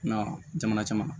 N'a jamana caman